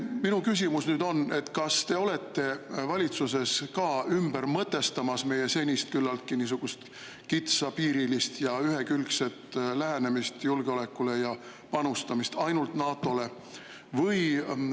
Minu küsimus on: kas te olete valitsuses ka ümber mõtestamas meie senist küllaltki kitsapiirilist ja ühekülgset lähenemist julgeolekule ja panustamist ainult NATO-le?